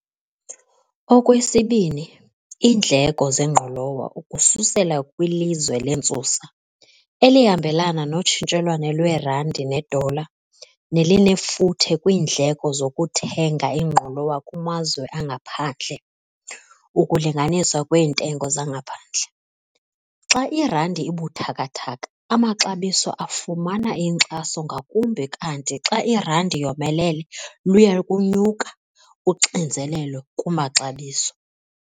Okwesibini, iindleko zengqolowa ukususela kwilizwe lentsusa, elihambelana notshintshelwano lwerandi nedola, nelinefuthe kwiindleko zokuthenga ingqolowa kumazwe angaphandle, ukulinganiswa kweentengo zangaphandle, xa irandi ibuthathaka amaxabiso afumana inkxaso ngakumbi kanti xa irandi yomelele luya kunyuka uxinzelelo kumaxabiso.